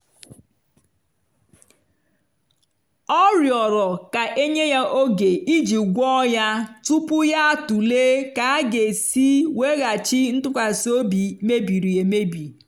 ọ rịọrọ ka e nye ya oge iji gwọọ ya tupu ya atụle ka a ga-esi weghachi ntụkwasị obi mebiri emebi.